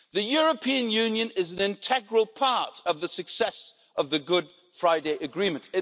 The European Union is an integral part of the success of the Good Friday Agreement.